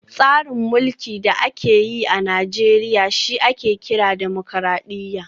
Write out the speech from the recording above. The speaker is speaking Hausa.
Tsarin mulkin da ake yi a Najeriya shi ake kira Dimokuradiyya